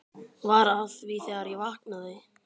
Var að því þegar ég vaknaði.